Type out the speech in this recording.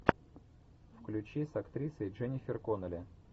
включи с актрисой дженнифер коннелли